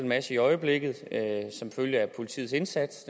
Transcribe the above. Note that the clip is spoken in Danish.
masse i øjeblikket som følge af politiets indsats